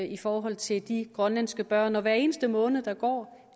i forhold til de grønlandske børn hver eneste måned der går